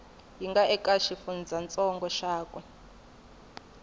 yi nga eka xifundzantsongo xakwe